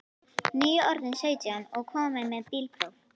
Nýorðinn sautján og kominn með bílpróf.